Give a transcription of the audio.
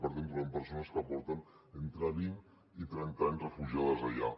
per tant trobem persones que porten entre vint i trenta anys refugiades allà